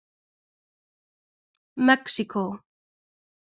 Mexíkó